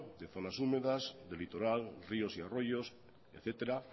de zonas húmedas de litoral ríos y arroyos etcétera